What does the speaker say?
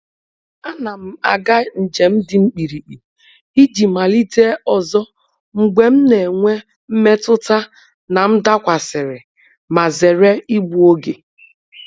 A na m aga njem dị mkpirikpi iji malite ọzọ mgbe m na-enwe mmetụta na m dakwasịrị, ma zere igbu oge.